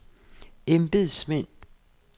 embedsmænd